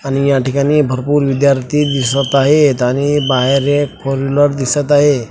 आणि या ठिकाणी भरपूर विद्यार्थी दिसत आहेत आणि बाहेर एक फोरव्हिलर दिसत आहे.